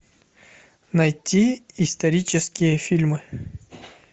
найти исторические фильмы